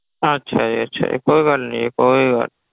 ਅੱਛਾ ਜੀ ਅੱਛਾ ਜੀ ਕੋਈ ਗੱਲ ਨੀ ਜੀ ਕੋਈ ਗੱਲ।